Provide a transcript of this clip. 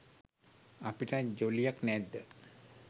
අපිටත් ජොලියක් නැද්ද?